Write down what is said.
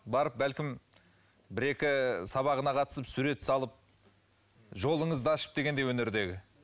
барып бәлкім бір екі сабағына қатысып сурет салып жолыңызды ашып дегендей өнердегі